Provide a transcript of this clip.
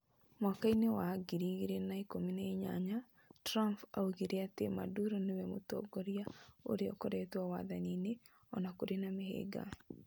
Mwaka-inĩ wa 2018, Trump oigire atĩ Maduro nĩ we mũtongoria ũrĩa ũkoretwo wathani-inĩ o na kũrĩ na mĩhĩnga.